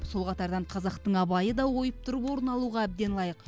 сол қатардан қазақтың абайы да ойып тұрып орын алуға әбден лайық